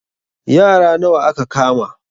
Yara nawa aka kama?